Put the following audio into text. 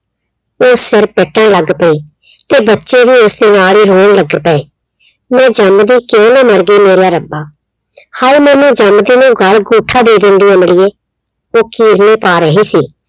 ਉਹ ਸਿਰ ਪਿੱਟਣ ਲੱਗ ਪਈ ਤੇ ਬੱਚੇ ਵੀ ਉਸਦੇ ਨਾਲ ਹੀ ਰੋਣ ਲੱਗ ਪਏ। ਮੈਂ ਜੰਮਦੀ ਕਿਉਂ ਨਾ ਮਰਗੀ ਮੇਰਿਆ ਰੱਬਾ, ਹਾਏ ਮੈਨੂੰ ਜੰਮਦੀ ਨੂੰ ਗਲ ਅਗੂੰਠਾ ਦੇ ਦੇਂਦੀ ਅੰਮੜੀਏ, ਉਹ ਕੀਰਨੇ ਪਾ ਰਹੀ ਸੀ।